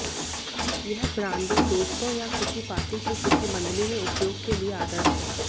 यह ब्रांडी दोस्तों या किसी पार्टी के किसी मंडली में उपयोग के लिए आदर्श है